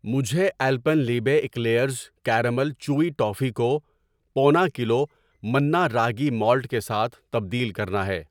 مجھے Alpenliebe eclairs caramel chewy toffee کو پونا کلو منا راگی مالٹ کے ساتھ تبدیل کرنا ہے۔